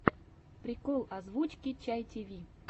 прикол озвучки чай тиви